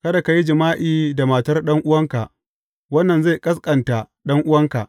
Kada ka yi jima’i da matar ɗan’uwanka; wannan zai ƙasƙanta ɗan’uwanka.